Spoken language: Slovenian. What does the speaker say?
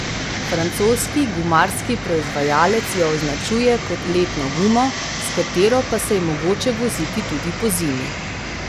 Francoski gumarski proizvajalec jo označuje kot letno gumo, s katero pa se je mogoče voziti tudi pozimi.